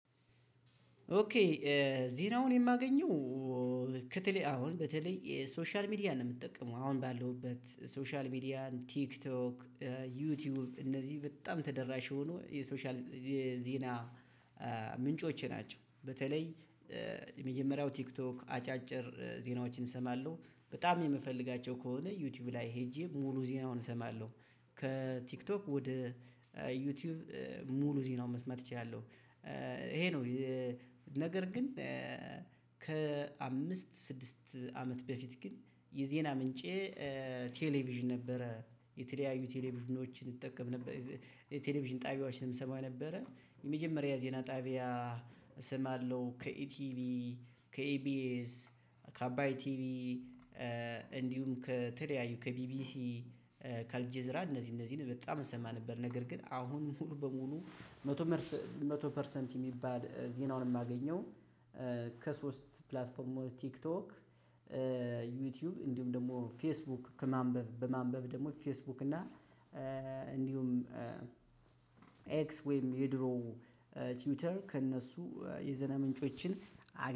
ኦኬ ዜናውን የማገኘው አሁን በተለይ ሶሻል ሚዲያን ነው የምጠቀመው አሁን ባለውበት ሶሻል ሚዲያን ቲክቶክ ዩቲዩብ እነዚህ በጣም ተደራሽ የሆኑ የሶሻል የዜና ምንጮቸ ናቸው። በተለይ የመጀመሪያው ቲክቶክ አጫጭር ዜናዎችን እሰማለሁ በጣም የምፈልጋቸው ከሆነ ዩቲዩብ ላይ ሄጄ ሙሉ ዜናውን እሰማለሁ ከቲክቶክ ወደ ዩቲዩብ ሙሉ ዜናውን መስማት እችላለሁ ይሄ ነው። ነገር ግን ከአምስት ስድስት አመት በፊት ግን የዜና ምንጬ ቴሌቪዥን ነበረ። የተለያዩ ቴሌቪዥኖችን እጠቀም ነበር የቴሌቪዥን ጣቢያዎችንም እሰማ ነበረ። የመጀመሪያ ዜና ጣቢያ እሰማለው ከኢቲቪ፣ ከኢቢኤስ፣ ከአባይ ቲቪ እንዲሁም ከተለያዩ ከቢቢሲ ከአልጀዝራ እነዚህ እነዚህን በጣም እሰማ ነበር። ነገር ግን አሁን ሙሉ በሙሉ መቶ መቶ ፐርሰንት የሚባል ዜናውን የማገኘው ከሶስት ፕላትፎርሞች ቲክቶክ፣ ዩቲዩብ፣ እንዲሁም ደግሞ ፌስቡክ ከማንበብ በማንበብ ደግሞ ፌስቡክ እና እንዲሁም ኤክስ ወይም የድሮ ትዊተር ከእነሱ የዜና ምንጮችን